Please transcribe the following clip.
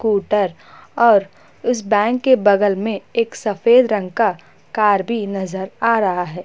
Scooter और उस bank के बगल में एक सफ़ेद रंग का कार भी नजर आ रहा है।